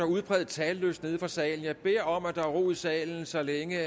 udpræget talelyst nede i salen jeg beder om at der er ro i salen så længe